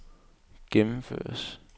gennemføres